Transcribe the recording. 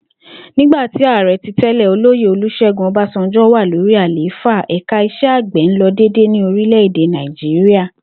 Nígbà tí àre̩ tí tẹ́lẹ̀, Olóyè Olus̩é̩gún O̩básanjó̩ wà lórí àlééfà, ẹ̀ka is̩e̩ àgbè̩ ń lo̩ dédé ní orílè̩-èdè Nàìjíríà